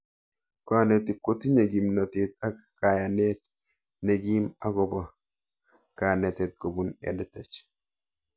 Kanetik kotinye kimnatet ak kayanet nekim akopo kanete kopun EdTech